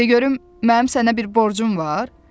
Tə görüm mənim sənə bir borcum var?